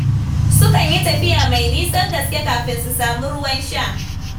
Sukan yi tafiya mai nisan gaske kafin su samu ruwan sha.